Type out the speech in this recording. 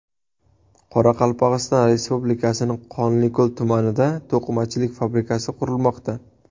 Qoraqalpog‘iston Respublikasining Qonliko‘l tumanida to‘qimachilik fabrikasi qurilmoqda.